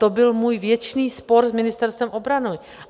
To byl můj věčný spor s Ministerstvem obrany.